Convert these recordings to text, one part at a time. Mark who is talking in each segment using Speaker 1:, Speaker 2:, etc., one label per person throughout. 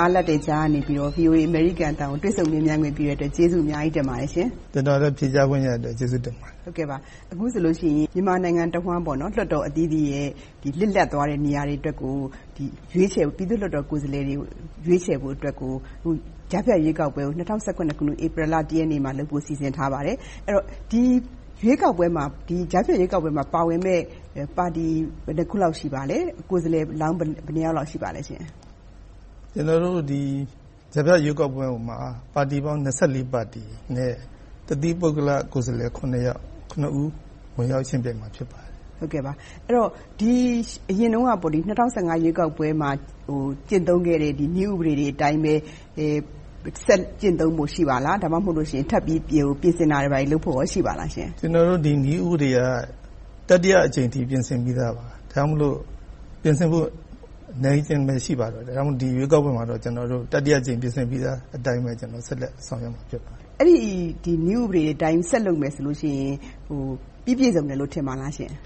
Speaker 1: အားလပ်တဲ့ကြားက VOA အမေရိကန်အသံကို တွေ့ဆုံမေးမြန်းခွင့် ပေးတဲ့အတွက် ကျေးဇူးအများကြီးတင်ပါတယ်ရှင့်။
Speaker 2: မင်္ဂလာပါ။ ကျနော်လည်း ဖြေကြားခွင့်ရတဲ့အတွက် ကျေးဇူးတင်ပါတယ်။
Speaker 1: အခုဆိုရင် မြန်မာပြည်တဝှမ်း လွှတ်တော်အသီးသီးရဲ့ လစ်လပ်သွားတဲ့ နေရာတွေအတွက်ကို ပြည်သူ့လွှတ်တော်ကိုယ်စားလှယ်တွေကို ရွေးချယ်ဖို့အတွက် ကြားဖြတ်ရွေးကောက်ပွဲကို ၂၀၁၇ ခုနှစ် ဧပြီလ ရက်နေ့မှာလုပ်ဖို့ စီစဉ်ထားပါတယ်။ ဒီကြားဖြတ်ရွေးကောက်ပွဲမှာ ပါဝင်မယ့်ပါတီ ဘယ်နှစ်ခုလောက်ရှိပါလဲ။ ကိုယ်စားလှယ်လောင်း ဘယ်နှစ်ယောက်လောက် ရှိပါလဲရှင့်။
Speaker 2: ကြားဖြတ်ရွေးကောက်ပွဲမှာ ပါတီပေါင်း ပါတီနဲ့ တသီးပုဂ္ဂလကိုယ်စားလှယ် ဦး ဝင်ရောက်ယှဉ်ပြိုင်မှာ ဖြစ်ပါတယ်။
Speaker 1: အရင်တုန်းက ၂၀၁၅ ရွေးကောက်ပွဲမှာ ကျင့်သုံးခဲ့တဲ့ နည်းဥပဒေတွေအတိုင်းပဲ ဆက်ကျင့်သုံးဖို့ ရှိပါလား။ ဒါမှ မဟုတ်လို့ရှိရင် ထပ်ပြီးပြင်ဆင်တာတွေများ ရှိပါလားရှင့်။
Speaker 2: ဒီနည်းဥပဒေက တတိယအကြိမ်အထိ ဒါကြောင့်မို့ ပြင်ဆင်ဖို့ အနည်းအကျဉ်းပဲ ရှိပါတော့တယ်။ ဒီရွေးကောက်ပွဲမှာတော့ တတိယအကြိမ် ပြင်ဆင်ထားတဲ့အတိုင်းပဲ ဆက်လက်ဆောင်ရွက်မှာ ဖြစ်ပါတယ်။
Speaker 1: အဲဒီ နည်းဥပဒေအတိုင်း ဆက်လုပ်မယ်ဆိုရင် ပြီးပြည့်စုံတယ်လို့ ထင်ပါလားရှင့်။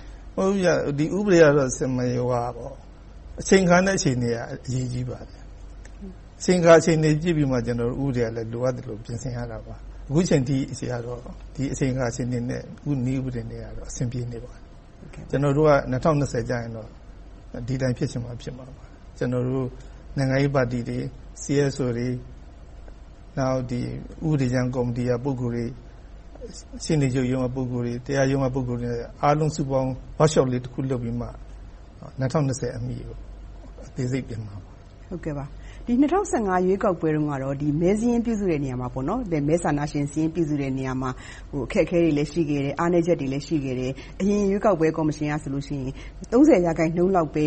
Speaker 2: ဒီဥပဒေကတော့ အချိန်အခါနဲ့ အခြေအနေအရ အရေးကြီးပါတယ်။ အချိန်အခါ အခြေအနေကို ကြည့်ပြီးမှ ဥပဒေကလည်း လိုအပ်သလို ပြင်ဆင်ရတာပါ။ အခုအချိန်အထိတော့ ဒီအချိန်အခါ အခြေအနေနဲ့တော့ ဒီနည်းဥပဒေက အဆင်ပြေနေပါတယ်။ ၂၀၂၀ ကျရင်တော့ ဒီအတိုင်း ဖြစ်ချင်မှာ ဖြစ်မှာပါ။ နိုင်ငံရေးပါတီတွေ၊ CSO တွေ၊ ဥပဒေကြမ်းကော်မတီက ပုဂ္ဂိုလ်တွေ၊ ရှေ့နေချုပ်ရုံးက ပုဂ္ဂိုလ်တွေ၊ တရားရုံး ပုဂ္ဂိုလ်တွေ အားလုံးစုပေါင်း Workshop လေး လုပ်ပြီးမှ ၂၀၂၀ အမီ အသေးစိတ်ပြင်မှာပါ။
Speaker 1: ၂၀၁၅ ရွေးကောက်ပွဲတုန်းကတော့ မဲစာရင်း ပြုစုတဲ့နေရာမှာ အခက်အခဲတွေလည်း ရှိခဲ့တယ်။ အားနည်းချက်တွေလည်း ရှိခဲ့တယ်။ အရင်ရွေးကောက်ပွဲ ကော်မရှင်ကဆိုရင် ရာခိုင်နှုန်းလောက်ပဲ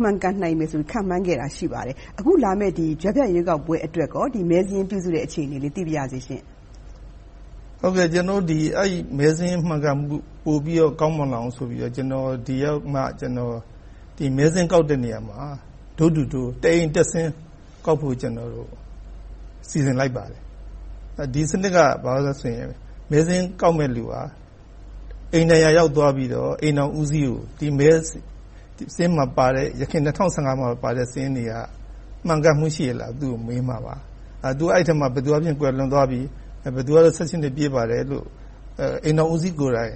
Speaker 1: မှန်ကန်မယ်လို့ ခန့်မှန်းခဲ့တာ ရှိပါတယ်။ အခုလာမယ့် ကြားဖြတ်ရွေးကောက်ပွဲအတွက် မဲစာရင်းပြုစုတဲ့ အခြေအနေလေး သိပါရစေရှင့်။
Speaker 2: မဲစာရင်း မှန်ကန်မှု ပိုပြီးတော့ ကောင်းမွန်လာအောင်ဆိုပြီး ကျနော် ဒီရောက်မှ မဲစာရင်းကောက်တဲ့နေရာမှာ Door to Door တအိမ်တက်ဆင်း ကောက်ဖို့ စီစဉ်လိုက်ပါတယ်။ ဒီစနစ်က ဘာဖြစ်လဲဆိုရင် မဲစာရင်း ကောက်မယ့်လူဟာ အိမ်တိုင်းရာရောက် အိမ်ထောင်ဦးစီးကို ယခင် ၂၀၁၅ ပါတဲ့ စာရင်းတွေက မှန်ကန်မှု ရှိရဲ့လားလို့ မေးမှာပါ။ အဲဒီအထဲမှာ ဘယ်သူကတော့ ကွယ်လွန်သွားပြီ၊ ဘယ်သူကတော့ နှစ် ပြည့်ပါတယ်လို့ အိမ်ထောင်ဦးစီးကိုယ်တိုင်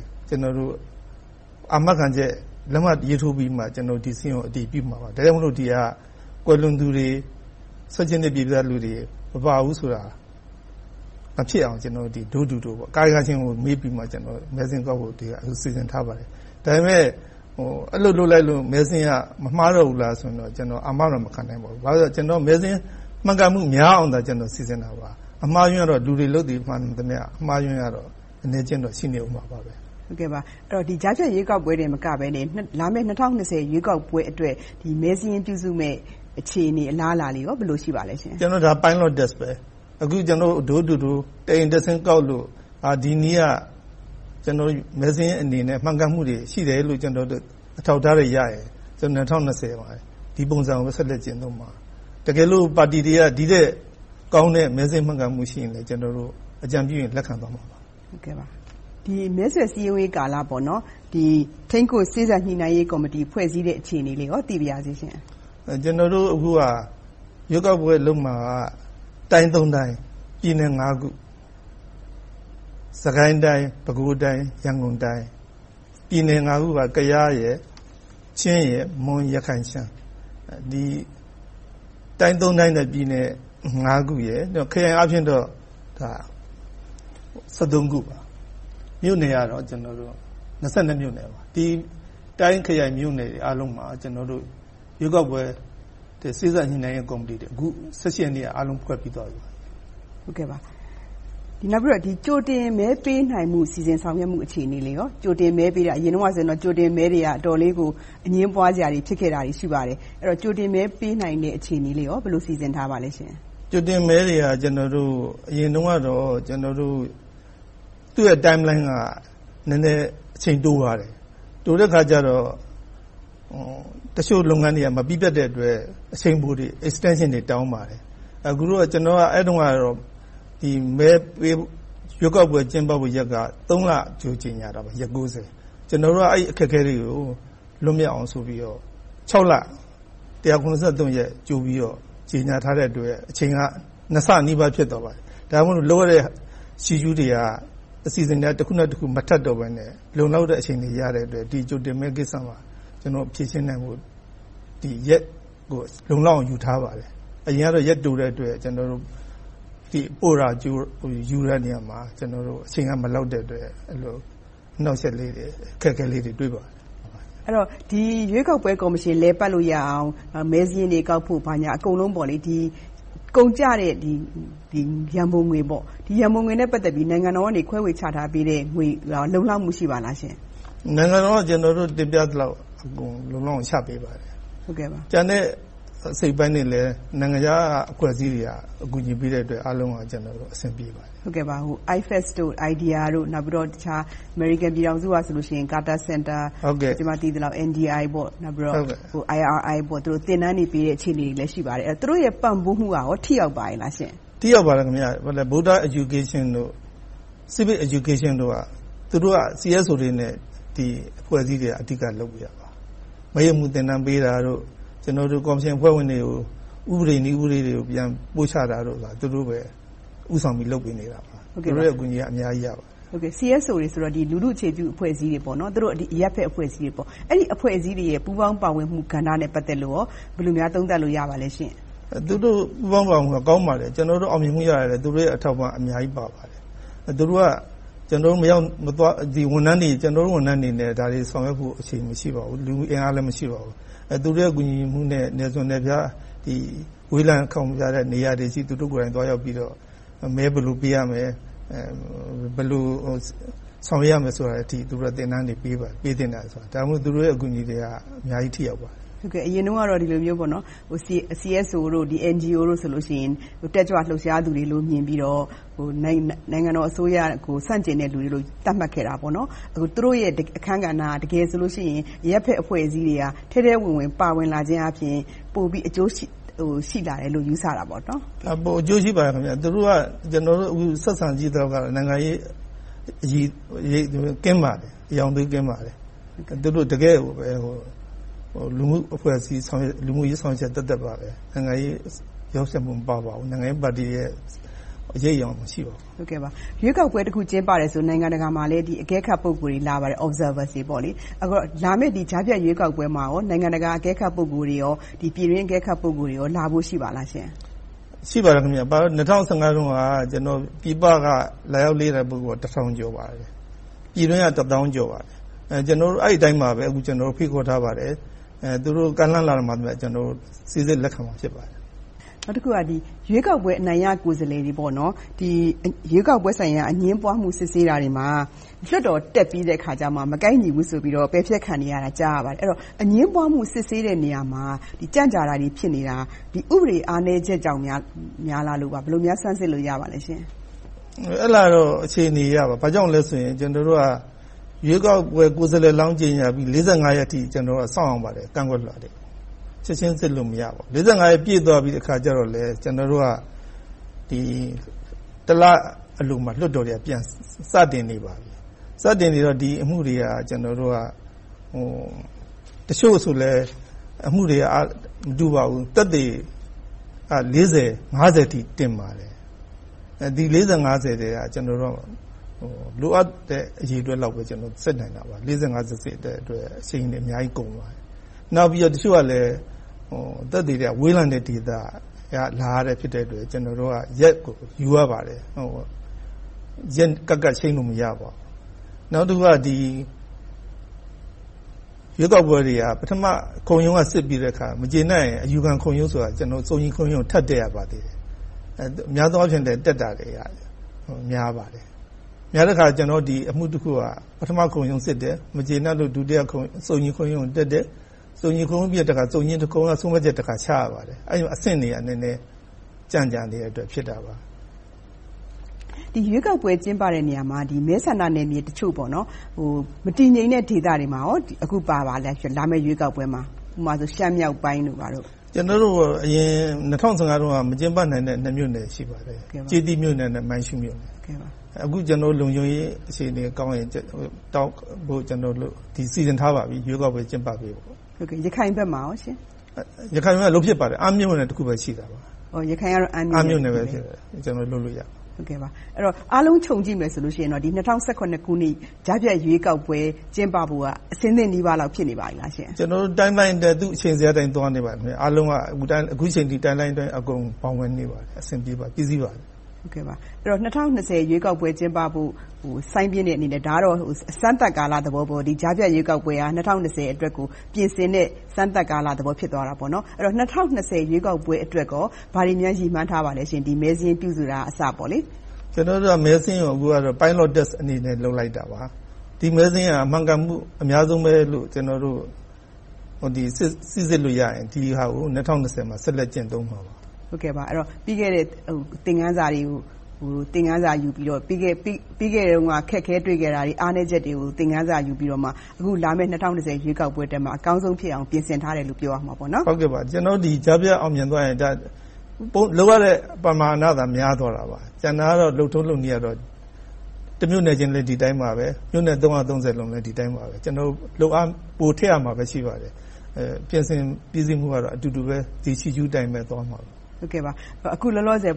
Speaker 2: အာမခံချက်၊ လက်မှတ်ရေးထိုးပြီးမှ ကျနော်တို့ ဒီစာရင်းကို အတည်ပြုမှာပါ။ ဒါကြောင့် ဒီဟာက ကွယ်လွန်သူတွေ၊ နှစ် ပြည့်ပြီး မပါဘူးဆိုတာ မဖြစ်အောင် ကျနော်တို့က Door to Door ကာယကံရှင်ကို မေးပြီးမှ.. စီစဉ်ထားပါတယ်။ ဒါပေမဲ့ အဲဒီလို လုပ်လိုက်လို့ မဲစာရင်းက မမှားတော့ဘူးလားလို့ အာမတော့ မခံနိုင်ပါဘူး။ ဘာဖြစ်လို့လဲဆိုတော့ မဲစာရင်း မှန်ကန်မှု များအောင် စီစဉ်တာပါ။ အမှားအယွင်းကတော့ လူတွေလုပ်တာ မှန်သမျှ အမှားအယွင်းကတော့ အနည်းအကျဉ်းတော့ ရှိနေအုံးမှာပါ။
Speaker 1: ဒီကြားဖြတ်ရွေးကောက်ပွဲတင် မကဘဲ လာမယ့် ၂၀၂၀ ရွေးကောက်ပွဲအတွက် မဲစာရင်း ပြုစုမယ့် အခြေအနေ၊ အလားအလာလေး ဘယ်လို ရှိပါလဲ။
Speaker 2: ဒါက Pilot test ပါ။ အခု ကျနော်တို့ Door to Door တအိမ်တက်ဆင်းကောက်လို့၊ ဒီနည်းက မဲစာရင်းအနေနဲ့ မှန်ကန်မှုတွေ ရှိတယ်လို့ အထောက်အထားတွေ ရရင်၂၀၂၀ မှာ ဒီပုံစံကို ဆက်လက်ကျင့်သုံးမှာ။ တကယ်လို့ ပါတီတွေက ဒီထက်ကောင်းတဲ့ မဲစာရင်းမှန်ကန်မှုနဲ့ အကြံပြုရင် လက်ခံသွားမှာပါ။
Speaker 1: မဲဆွဲစည်းရုံးရေးကာလမှာ ထိန်းကွပ်စေ့စပ်ညှိနှိုင်းရေးကော်မတီ ဖွဲ့စည်းတဲ့ အခြေအနေလေးလည်း သိပါရစေရှင့်။
Speaker 2: ကျနော်တို့ အခုက ရွေးကောက်ပွဲလုပ်မှာက တိုင်း တိုင်း၊ ပြည်နယ် ခု - စစ်ကိုင်းတိုင်း၊ ပဲခူးတိုင်း၊ ရန်ကုန်တိုင်း။ ပြည်နယ် ခု - ကယား၊ ချင်း၊ မွန်၊ ရခိုင်၊ ရှမ်း - တိုင်း တိုင်း နဲ့ ပြည်နယ် ခု - ခရိုင်အားဖြင့်တော့ ခုပါ။ မြို့နယ်က မြို့နယ်ပါ။ တိုင်းခရိုင်မြို့နယ်တွေအားလုံးမှာ ကျနော်တို့ ရွေးကောက်ပွဲ စေ့စပ်ညှိနှိုင်းရေးကော်မတီတွေ အခု ရက်နေ့က အားလုံးခွဲပြီးသွားပါပြီ။
Speaker 1: နောက်ပြီးတော့ ကြိုတင်မဲပေးနိုင်မှု အစီအစဉ် ဆောင်ရွက်မှု အခြေအနေလေးကော။ ကြိုတင်မဲပေးတာ အရင်တုန်းကဆို ကြိုတင်မဲတွေက အတော်လေးကို အငြင်းပွားစရာတွေ ရှိခဲ့ပါတယ်။ ကြိုတင်မဲပေးနိုင်တဲ့ အခြေအနေလေးကို ဘယ်လို စီစဉ်ထားပါလဲရှင့်။
Speaker 2: ကြိုတင်မဲတွေက အရင်တုန်းကတော့ သူ့ရဲ့ Timeline က နည်းနည်းအချိန်တိုပါတယ်။ တိုတဲ့အခါကြတော့ တချို့လုပ်ငန်းတွေက မပြီးပြတ်တဲ့အတွက် Extension တွေ တောင်းပါတယ်။ အဲဒီတုန်းကတော့ ရွေးကောက်ပွဲ ကျင်းပဖို့ရက်က လ ကြိုကြေညာတာပါ - ရက် ။ ကျနော်က အဲဒီအခက်အခဲတွေကို လွှတ်မြောက်အောင်ဆိုပြီးတော့ လ၊ ရက် ကြိုပြီးကြေညာထားတဲ့အတွက် အချိန်က နှစ်ဆနီးပါး ဖြစ်သွားပါတယ်။ ဒါကြောင့်မို့ လုပ်ရတဲ့ Schedule တွေက အစီအစဉ် တခုနဲ့တခု မထပ်တော့ဘဲနဲ့ လုံလောက်တဲ့ အချိန်ရတဲ့အတွက် ဒီကြိုတင်မဲကိစ္စမှာ ဖြေရှင်းနိုင်ဖို့ ရက်ကို လုံလောက်အောင် ယူထားပါတယ်။ အရင်တုန်းကတော့ ရက်တိုတဲ့အတွက် ပို့တာယူတဲ့နေရာမှာ အချိန်ကမလောက်တဲ့အတွက် အနှောင့်ယှက်လေးတွေ၊ အခက်အခဲလေးတွေ တွေ့ပါတယ်။
Speaker 1: အဲဒီတော့ ရွေးကောက်ပွဲ ကော်မရှင် လည်ပတ်လို့ရအောင် မဲစာရင်းတွေကောက်ဖို့ ဘာညာအကုန်လုံး ကုန်ကျတဲ့ ရန်ပုံငွေနဲ့ ပတ်သက်ပြီး နိုင်ငံတော်က ခွဲဝေချထားပေးတဲ့ငွေ လုံလောက်မှု ရှိပါလား။
Speaker 2: နိုင်ငံတော်က တင်ပြသလောက် လုံလောက်အောင် ချပေးပါတယ်။ ကျန်တဲ့ အစိတ်အပိုင်းတွေလည်း နိုင်ငံခြားက အဖွဲ့အစည်းတွေက ကူညီပေးတဲ့အတွက် အားလုံးအဆင်ပြေပါတယ်။
Speaker 1: IFEX, IDEA နဲ့ တခြားအမေရိကန် ပြည်ထောင်စုကဆို Carter Center, NDI, IRI သင်တန်းတွေပေးတဲ့ အခြေအနေတွေလည်း ရှိပါတယ်။ သူတို့ရဲ့ ပံ့ပိုးမှုကလည်း ထိရောက်မှု ရှိပါလားရှင့်။
Speaker 2: ထိရောက်ပါတယ်။ Buddha Education တို့၊ Civic Education တို့က သူတို့က CSO တွေနဲ့ အဖွဲ့အစည်းတွေက အဓိက လုပ်ပေးတာပါ။ မဲရုံးမှုးသင်တန်းပေးတာတို့၊ ကော်မရှင်အဖွဲ့ဝင်တွေကို ဥပဒေ၊ နည်းဥပဒေတွေကို ပို့ချတာတို့ကို သူတို့ပဲ ဦးဆောင်ပြီး လုပ်ပေးနေတာပါ။ သူတို့ရဲ့ အကူအညီက အများကြီးရပါတယ်။
Speaker 1: CSO တွေဆိုတော့ လူထုအခြေပြု အဖွဲ့အစည်းတွေ၊ အရပ်ဖက်အဖွဲ့အစည်းတွေပေါ့။ အဲဒီ အဖွဲ့အစည်းတွေရဲ့ ပူးပေါင်းပါဝင်မှု အခန်းကဏ္ဍနဲ့ ပတ်သက်လို့ ဘယ်လိုများ သုံးသပ်လို့ ရပါလဲရှင့်။
Speaker 2: သူတို့ ပူးပေါင်းပါဝင်မှုက ကောင်းပါတယ်။ ကျနော်တို့ အောင်မြင်မှုရတာတွေက သူတို့ရဲ့ အထောက်အပံ့ အများကြီးပါပါတယ်။ သူတို့က ကျနော်တို့ ဝန်ထမ်းတွေအနေနဲ့ ဒါတွေဆောင်ရွက်ဖို့ အချိန်မရှိပါဘူး။ လူအင်အားလည်း မရှိပါဘူး။ သူတို့ ကူညီမှုနဲ့ နယ်စွန်နယ်ဖျား ဝေးလံခေါင်ပါးတဲ့နေရာတွေအထိ သွားရောက်ပြီးတော့ မဲ ဘယ်လိုပေးရမယ်။ ဘယ်လို ဆောင်ရွက်ရမယ်ဆိုတာတွေအထိ သူတို့က သင်တန်းတွေ ပေးပါတယ်။ ဒါကြောင့် သူတို့ရဲ့ အကူအညီတွေက အများကြီး ထိရောက်ပါတယ်။
Speaker 1: အရင်တုန်းကတော့ ဒီလိုမျိုး CSO တို့၊ NGO တို့ဆိုရင် တက်ကြွလှုပ်ရှားသူတွေလို့ မြင်ပြီးတော့ နိုင်ငံတော်အစိုးရကို ဆန့်ကျင်တဲ့လူတွေလို့ သတ်မှတ်ခဲ့တာပေါ့။ အခု သူတို့ရဲ့အခန်းကဏ္ဍက တကယ်ဆိုလို့ရှိရင် အရပ်ဖက်အဖွဲ့အစည်းတွေက ထဲထဲဝင်ဝင် ပါဝင်လာခြင်းအားဖြင့် ပိုပြီးအကျိုးရှိလာတယ်လို့ ယူဆတာပေါ့။
Speaker 2: ပိုအကျိုးရှိပါတယ်။ သူတို့က ကျနော်တို့ အခုဆက်ဆံကြည့်သလောက်တော့ နိုင်ငံရေးအရောင်အသွေး ကင်းပါတယ်။ တကယ့်ကိုပဲ လူမှု့အဖွဲ့အစည်း လူမှုရေးဆောင်ရွက်ချက်သက်သက်ပါပဲ၊ နိုင်ငံရေး ရောယှက်မှုမပါပါဘူး။ နိုင်ငံရေးပါတီရဲ့ အရိပ်အရောင် မရှိပါဘူး။
Speaker 1: ရွေးကောက်ပွဲတခု ကျင်းပတယ်ဆိုရင် နိုင်ငံတကာမှာလည်း အကဲခတ် ပုဂ္ဂိုလ်တွေ လာပါတယ် - Observers တွေ။ လာမယ့်ကြားဖြတ်ရွေးကောက်ပွဲမှာ နိုင်ငံတကာအကဲခတ် ပုဂ္ဂိုလ်တွေ၊ ပြည်တွင်းအကဲခတ် ပုဂ္ဂိုလ်တွေ လာဖို့ရှိပါလားရှင့်။
Speaker 2: ရှိပါတယ်။ ၂၀၁၅ ခုမှာ ပြည်ပက လာရောက်လေ့လာတဲ့ ပုဂ္ဂိုလ်တစ်ထောင်ကျော်ပါတယ်။ ပြည်တွင်းက တစ်သောင်းကျော်ပါတယ်။ အဲဒီအတိုင်းပါပဲ ဖိတ်ခေါ်ထားပါတယ်။ သူတို့ကမ်းလှမ်းလာတော့မှ ကျနော်တို့ စီစစ်လက်ခံမှာ ဖြစ်ပါတယ်။
Speaker 1: နောက်တခုက ရွေးကောက်ပွဲ အနိုင်ရကိုယ်စားလှယ်တွေကို ရွေးကောက်ပွဲဆိုင်ရာ အငြင်းပွားမှု စစ်ဆေးတာတွေမှာ လွှတ်တော်တက်ပြီးတဲ့အခါကြမှ မကိုက်ညီဘူးဆိုပြီး ပယ်ဖျက်ခံနေရတာ ကြားရပါတယ်။ အငြင်းပွားမှု စစ်ဆေးတဲ့နေရာမှာ ကြန့်ကြာတာတွေ ဖြစ်နေတာ။ ဥပဒေ အားနည်းချက်ကြောင့်လား ဘယ်လိုများ စမ်းစစ်လို့ ရပါလဲရှင့်။
Speaker 2: အဲဒါကတော့ အခြေအနေအရ ဘာကြောင့်လဲဆိုရင် ကျနော်တို့က ရွေးကောက်ပွဲ ကိုယ်စားလှယ်လောင်း ကြေညာပြီး ရက်အထိ စောင့်ရပါတယ်။ ကန့်ကွက်လွှာတွေကို ချက်ချင်းစစ်လို့ မရပါဘူး။ ရက်ပြည့်သွားပြီးအခါကြတော့လည်း ကျနော်တို့က တစ်လအလိုမှာ လွှတ်တော်က ပြန်စတင်နေပါပြီ။ စတင်နေတော့ ဒီအမှုတွေက တချို့ဆိုလဲ အမှုတွေက မတူပါဘူး။ သက်သေတွေက အထိ တင်ပါတယ်။ ဒီ ထဲက လိုအပ်တဲ့ အရေအတွက်လောက်ပဲ ကျနော်တို့ စစ်နိုင်တာပါ။ ကို စစ်ရင် အချိန်တွေ အများကြီးကုန်ပါတယ်။ နောက်ပြီးတော့ တချို့ကလည်း သက်သေတွေက ဝေးလံတဲ့ဒေသက လာရတဲ့ ဖြစ်တဲ့အတွက် ကျနော်တို့က ရက်ကိုယူရပါတယ်။ ရက်ကပ်ပြီး ချိန်းလို့မရပါဘူး။ နောက်တခုက ရွေးကောက်ပွဲတွေက ခုံရုံးက စစ်ပြီးတဲ့အခါ မကျေနပ်ရင် အယူခံခုံရုံးကို ထပ်တက်ရပါတယ်။ များသောအားဖြင့် တက်တာတွေက များပါတယ်။ များတဲ့အခါ အမှုတခုက ပထမခုံရုံးစစ်တယ်။ မကျေနပ်လို့ ဒုတိယခုံရုံးကိုတက်တယ်။ စုံညီခုံရုံးပြီးတော့ စုံညီခုံရုံးက ဆုံးဖြတ်ချက်တခု ချရပါတယ်။ အဆင့်တွေက ကြန့်ကြာနေတဲ့အတွက် ဖြစ်တာပါ။
Speaker 1: ရွေးကောက်ပွဲ ကျင်းပတဲ့နေရာမှာ မဲဆန္ဒနယ်မြေတချို့ မတည်ငြိမ်တဲ့ဒေသတွေမှာ အခုလာမယ့် ရွေးကောက်ပွဲမှာပါလား။ ဥပမာ ရှမ်းမြောက်ပိုင်းတို့ဘာတို့။
Speaker 2: ကျနော်တို့ အရင် ၂၀၁၅ တုန်းက မကျင်းပနိုင်တဲ့ နှစ်မြို့နယ်တွေ ရှိပါတယ်။ ကျေးတီးမြို့ နဲ့ နိုင်ရှင်းမြို့ပါ။ အခုလုံခြုံရေး အခြေအနေကောင်းရင် လုပ်ဖို့စီစဉ်ထားပါပြီ။ ရွေးကောက်ပွဲ ကျင်းပပေးဖို့။
Speaker 1: ရခိုင်ဘက်မှာကော။
Speaker 2: ရခိုင်က လုပ်ဖြစ်ပါတယ်။ အမ်းမြို့နယ် တခုပဲ ရှိတာပါ။ ကျနော်တို့ လုပ်လို့ရပါတယ်။
Speaker 1: အားလုံးခြုံကြည့်မယ်ဆိုရင် ၂၀၁၇ ခုနှစ် ကြားဖြတ်ရွေးကောက်ပွဲ ကျင်းပဖို့က အဆင်သင့်နီးပါး ဖြစ်နေပါပြီလားရှင့်။
Speaker 2: ကျနော်တို့ Timeline အတိုင်း အချိန်ဇယားအတိုင်း သွားနေပါတယ်။ အားလုံးက အခုအချိန်အထိ Timeline အတိုင်း ဘောင်ဝင်နေပါတယ်။ အဆင်ပြေပါတယ်။ ပြီးစီးပါပြီ။
Speaker 1: ၂၀၂၀ ရွေးကောက်ပွဲ ကျင်းပဖို့ စိုင်းပြင်းတဲ့အနေနဲ့ ဒါကတော့ အစမ်းသပ်ကာလသဘောပေါ့။ ကြားဖြတ်ရွေးကောက်ပွဲက ၂၀၂၀ ကို ပြင်ဆင်တဲ့ အစမ်းသပ်ကာလ ဖြစ်သွားတာပေါ့။ ဆိုတော့ ၂၀၂၀ ရွေးကောက်ပွဲအတွက် ဘာတွေများ ရည်မှန်းထားပါလဲရှင့်။ မဲစာရင်း ပြုစုတာကအစ။
Speaker 2: ကျနော်တို့က မဲစာရင်းကိုတော့ Pilot Test အနေနဲ့ လုပ်လိုက်တာပါ။ ဒီမဲစာရင်းဟာ မှန်ကန်မှု အများဆုံးပဲလို့ ကျနော်တို့ စီစစ်လို့ရရင် ဒီဟာကို ၂၀၂၀ မှာ ဆက်လက်ကျင့်သုံးမှာပါ။
Speaker 1: ပြီးခဲ့တဲ့ သင်ခန်းစာတွေကို သင်ခန်းစာယူပြီးတော့ ပြီးခဲ့တဲ့တုန်းက အခက်အခဲ တွေ့ခဲ့တာတွေ၊ အားနည်းချက်တွေကို သင်ခန်းစာယူပြီးတော့မှ အခုလာမယ့် ၂၀၂၀ ရွေးကောက်ပွဲမှာ အကောင်းဆုံးဖြစ်အောင် ပြင်ဆင်ထားတယ်လို့ ပြောရမှာပေါ့နော်။
Speaker 2: ကျနော်တို့ အခုကြားဖြတ် အောင်မြင်သွားရင် လုပ်ရတဲ့ ပမာဏသာ ပိုများသွားတာပါ။ ကျန်တာကတော့ လုပ်ထုံးလုပ်နည်းကတော့ တမြို့နယ်ချင်းလည်း ဒီအတိုင်းပါပဲ၊ မြို့နယ် လည်း ဒီအတိုင်းပါပဲ။ ကျနော်တို့ လုပ်အားပိုထည့်ရတာပဲရှိပါတယ်။ ပြင်ဆင်ပြီးစီးမှုက အတူတူပဲ ဒီ Schedule အတိုင်းပဲသွားမှာပါ။
Speaker 1: အခုလောလောဆယ်